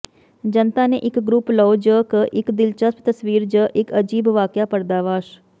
ਜਨਤਾ ਦੇ ਇੱਕ ਗਰੁੱਪ ਲਓ ਜ ਇੱਕ ਦਿਲਚਸਪ ਤਸਵੀਰ ਜ ਇੱਕ ਅਜੀਬ ਵਾਕਿਆ ਪਰਦਾਫ਼ਾਸ਼